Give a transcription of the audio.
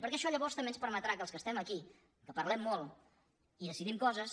perquè això llavors també ens permetrà que els que estem aquí que parlem molt i decidim coses